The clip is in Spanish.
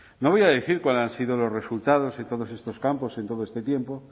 no voy a decir cuáles han sido los resultados en todos estos campos en todo este tiempo